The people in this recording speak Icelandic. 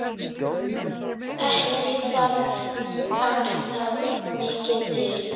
Ekki þarf alltaf mikið til.